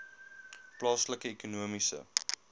plaaslike ekonomiese